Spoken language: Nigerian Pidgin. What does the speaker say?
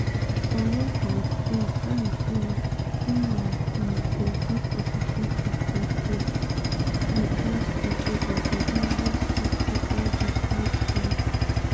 on one hand im hand im be like im dey give positive response to di us proposal for immediate stop to all di fight fight.